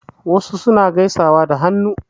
Wasu suna gaisawa da hannu.